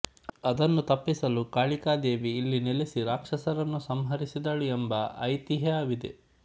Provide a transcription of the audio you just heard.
ಅದನ್ನು ತಪ್ಪಿಸಲು ಕಾಳಿಕಾ ದೇವಿ ಇಲ್ಲಿ ನೆಲೆಸಿ ರಾಕ್ಷಸರನ್ನು ಸಂಹರಿಸಿದಳು ಎಂಬ ಐತಿಹ್ಯವಿದೆ